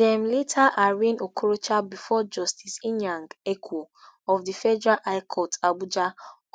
dem later arraign okorocha before justice inyang ekwo of di federal high court abuja